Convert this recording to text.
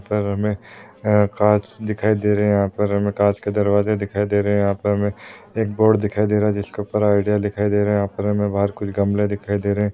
यहा पर हमे काँच दिखाई दे रहे यहा पर हमे काँच के दरवाजे दिखाई दे रहे यहा पर हमे एक बोर्ड दिखाई दे रहा जिसके ऊपर आइडिया दिखाई दे रहा यहा पर हमे बाहर कुछ गमले दिखाई दे रहे।